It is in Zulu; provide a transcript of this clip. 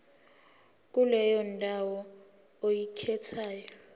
kuleyo ndawo oyikhethayo